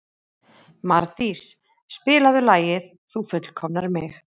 Mardís, spilaðu lagið „Þú fullkomnar mig“.